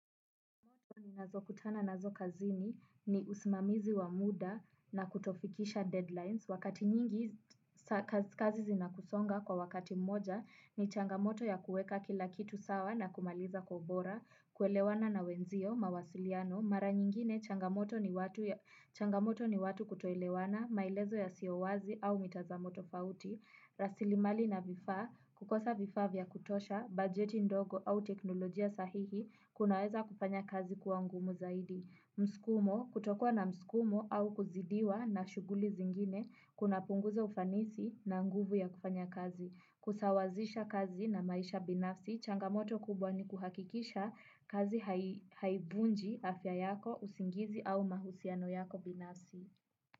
Ninazo kutana nazo kazini ni usimamizi wa muda na kutofikisha deadlines. Wakati nyingi kazi zinakusonga kwa wakati moja ni changamoto ya kuweka kila kitu sawa na kumaliza kwa ubora, kuelewana na wenzio, mawasiliano. Mara nyingine changamoto ni watu kutoilewana, mailezo ya siowazi au mitazamo tofauti, rasilimali na vifa, kukosa vifa vya kutosha, budgeti ndogo au teknolojia sahihi kunaweza kufanya kazi kuangumu zaidi. Mskumo, kutokua na mskumo au kuzidiwa na shuguli zingine kuna punguza ufanisi na nguvu ya kufanya kazi. Kusawazisha kazi na maisha binafsi, changamoto kubwa ni kuhakikisha kazi haivunji afya yako usingizi au mahusiano yako binafsi.